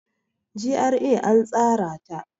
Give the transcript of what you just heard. GRA an tsara ta.